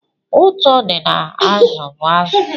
Ụ̀tụ́ dị n'azụ bụ azụ.